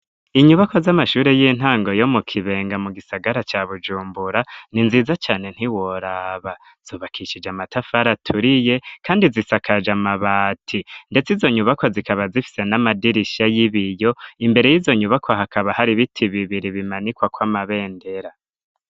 Inyubako z'amashure y'intango yo mu kibenga mu gisagara ca bujumbura ni nziza cane ntiworaba zubakishije amatafari aturiye, kandi zisakaje amabati, ndetse izonyubaka zikaba zifise n'amadirisha y'ibiyo imbere y'izonyubakwa hakaba hari ibiti bibiri bimanikwa ko amabendera.